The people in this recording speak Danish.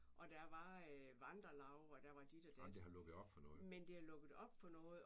Og der var vandrelaug og der var dit og dat men det har lukket op for noget